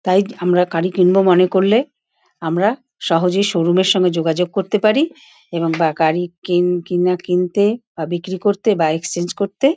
তাইদ আমরা গাড়ি কিনবো মনে করলে আমরা সহজেই শোরুম -এর সঙ্গে যোগাযোগে করতে পারি এবং বা গাড়ি কিন কিনা কিনতে বা বিক্রি করতে বা এক্সচেঞ্জ করতে --